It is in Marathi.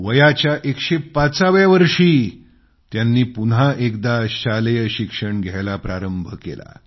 वयाच्या 105 व्या वर्षी त्यांनी पुन्हा एकदा शालेय शिक्षण घ्यायला प्रारंभ केला